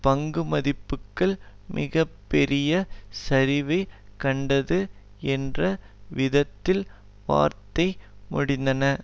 பங்குமதிப்புக்கள் மிக பெரிய சரிவைக் கண்டது என்ற விதத்தில் வாரத்தை முடித்தன